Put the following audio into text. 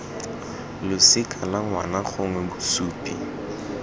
losika la ngwana gongwe bosupi